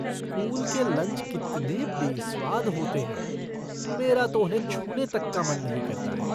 School के lunch कितने बेस्वाद होते हैं, मेरा तो उन्हें छूने तक का मन नहीं करता है।